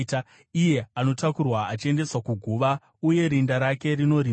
Iye anotakurwa achiendeswa kuguva, uye rinda rake rinorindwa.